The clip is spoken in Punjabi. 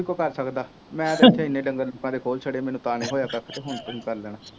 ਕਹਿ ਸਕਦਾ, ਮੈਂ ਤਾਂ ਜਿੱਥੇ ਐਨੇ ਡੰਗਰ ਲੋਕਾਂ ਦੇ ਖੋਲ੍ਹ ਛੱਡੇ, ਮੈਨੂੰ ਤਾਂ ਨਹੀਂ ਹੋਇਆ ਕੱਖ ਅਤੇ ਹੁਣ ਕੀ ਕਰ ਲੈਣਾ,